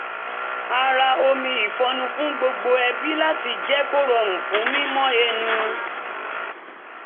a ra omi ìfọ́nú fún gbogbo ẹbí láti jẹ́ kó rọrùn fún mímọ́ ẹnu